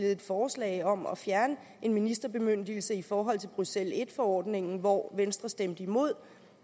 et forslag om at fjerne en ministerbemyndigelse i forhold til bruxelles en forordningen hvor venstre stemte imod